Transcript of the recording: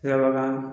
Labakan